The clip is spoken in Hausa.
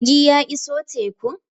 jirgi ya iso tekun?